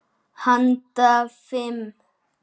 Handa fimm